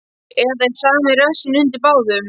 Eða er sami rassinn undir báðum.